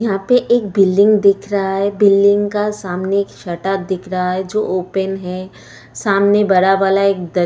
यहाँ पे एक बिल्डिंग दिख रहा है बिल्डिंग का सामने एक शटर दिख रहा है जो ओपन है सामने बड़ा वाला एक --